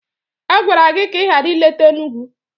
A gwara gị ka ị ghara ileta Enugwu.